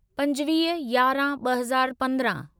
पंजवीह यारहं ब॒ हज़ार पंद्रहं